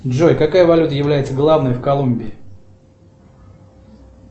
джой какая валюта является главной в колумбии